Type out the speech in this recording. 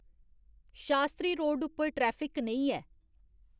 शास्त्री road उप्पर traffic कनेही ऐ